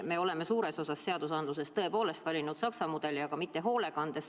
Me oleme suures osas seadusandluses tõepoolest valinud Saksa mudeli, aga mitte hoolekandes.